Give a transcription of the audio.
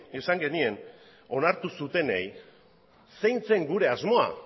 esan genien onartu zutenei zein zen gure asmoa